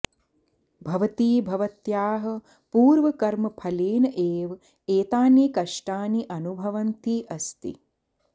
भवती भवत्याः पूर्वकर्मफलेन एव एतानि कष्टानि अनुभवन्ती अस्ति